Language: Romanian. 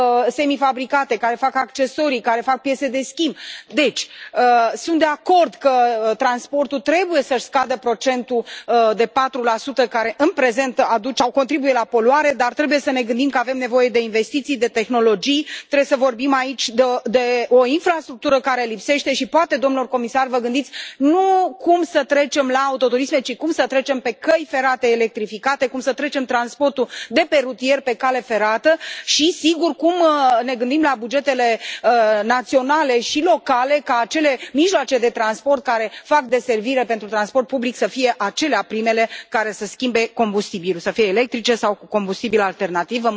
semifabricate, care fac accesorii, care fac piese de schimb. Deci, sunt de acord că transportul trebuie să își scadă procentul de 4 care, în prezent, contribuie la poluare, dar trebuie să ne gândim că avem nevoie de investiții, de tehnologii, trebuie să vorbim aici de o infrastructură care lipsește și poate, domnilor comisari, vă gândiți nu cum să trecem la autoturisme, ci cum să trecem pe căi ferate electrificate, cum să trecem transportul de pe rutier pe cale ferată și, sigur, cum ne gândim la bugetele naționale și locale ca acele mijloace de transport care fac deservire pentru transport public să fie acelea primele care să schimbe combustibilul, să fie electrice sau cu combustibil alternativ.